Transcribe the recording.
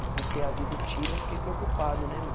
E por ter havido o tiro, eu fiquei preocupado, né, meu?